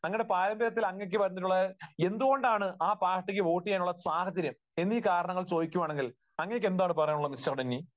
അങ്ങയുടെ പാരമ്പര്യത്തിൽ അങ്ങേയ്ക്ക് വന്നിട്ടുള്ള, എന്തുകൊണ്ടാണ് ആ പാർട്ടിക്ക് വോട്ടുചെയ്യാനുള്ള സാഹചര്യം എന്നീ കാരണങ്ങൾ ചോദിക്കുകയാണെങ്കിൽ അങ്ങേയ്ക്ക് എന്താണ് പറയാനുള്ളത് മിസ്റ്റർ ഡെന്നി?